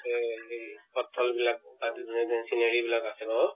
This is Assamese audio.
তে লি পতথ্ল বিলাক তাতে ধুনীয়া ধুনীয়া scenery বিলাক আছে ভ?